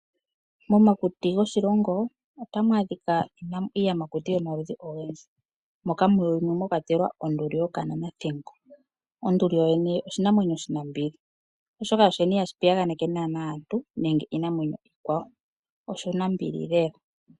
Momakuti goshilongo otamu adhika iiyamakuti yomaludhi ogendji moka mwakwatelwa onduli yokananathingo. Onduli oshinanwenyo oshinambili oshoka ihashi piyaganeke aantu oshinambili lela.